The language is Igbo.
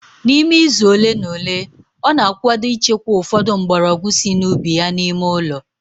N'ime izu ole na ole, ọ na-akwado ịchekwa ụfọdụ mgbọrọgwụ sị n'ubi ya n'ime ụlọ